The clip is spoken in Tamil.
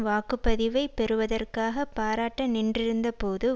வாக்கு பதிவை பெறுவதற்காக பாராட்ட நின்றிருந்தபோது